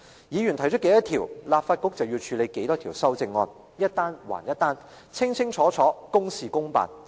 議員提出多少項修正案，立法局便要處理多少項修正案，一單還一單，清清楚楚，公事公辦。